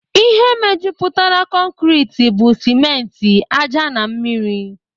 Ihe mejupụtara concreti bụ simenti, ájá na mmiri